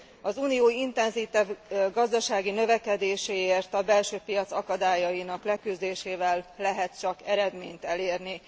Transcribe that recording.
Az Unió intenzívebb gazdasági növekedéséért a belső piac akadályainak leküzdésével lehet csak eredményt elérni.